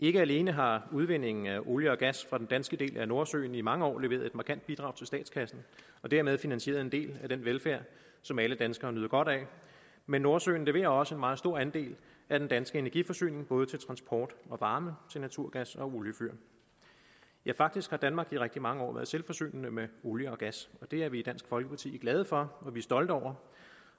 ikke alene har udvindingen af olie og gas fra den danske del af nordsøen i mange år leveret et markant bidrag til statskassen og dermed finansieret en del af den velfærd som alle danskere nyder godt af men nordsøen leverer også en meget stor andel af den danske energiforsyning både til transport og varme til naturgas og oliefyr ja faktisk har danmark i rigtig mange år været selvforsynende med olie og gas og det er vi i dansk folkeparti glade for og stolte over